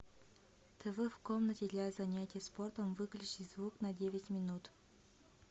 тв в комнате для занятия спортом выключи звук на девять минут